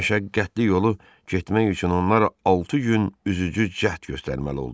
Bu məşəqqətli yolu getmək üçün onlar altı gün üzücü cəhd göstərməli oldular.